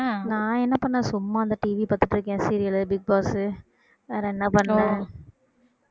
நான் என்ன பண்ணேன்? சும்மா அந்த TV பாத்துட்டு இருக்கேன் serial பிக் பாஸ் வேற என்ன பண்ணுவோம்